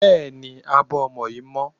Bẹ́ẹ̀ni, abọ́ ọmọ yín mọ́.